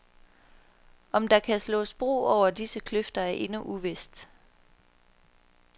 Om der kan slås bro over disse kløfter er endnu uvist.